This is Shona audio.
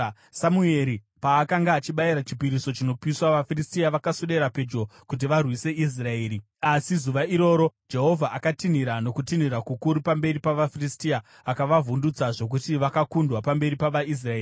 Samueri paakanga achibayira chipiriso chinopiswa, vaFiristia vakaswedera pedyo kuti varwise Israeri. Asi zuva iroro Jehovha akatinhira nokutinhira kukuru pamberi pavaFiristia akavavhundutsa zvokuti vakakundwa pamberi pavaIsraeri.